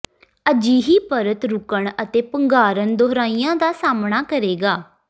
ਅਜਿਹੀ ਪਰਤ ਰੁਕਣ ਅਤੇ ਪੰਘਾਰਨ ਦੁਹਰਾਇਆ ਦਾ ਸਾਮ੍ਹਣਾ ਕਰੇਗਾ